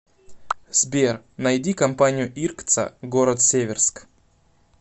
сбер найди компанию иркца город северск